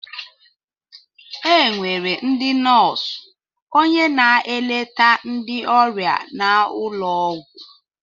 Enwere ndị nóósu, ónyé na-eleta ndị ọrịa n' ụlọ ọgwụ.